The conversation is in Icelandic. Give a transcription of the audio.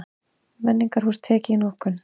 Menningarhús tekið í notkun